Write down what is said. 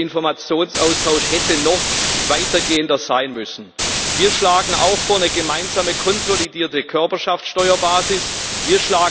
Der Informationsaustausch hätte noch weiter gehen müssen. Wir schlagen auch eine gemeinsame konsolidierte Körperschaftsteuerbasis vor.